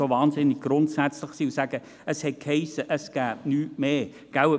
Wir sind nun so wahnsinnig grundsätzlich und sagen: Es hat geheissen, es gebe nichts darüber hinaus.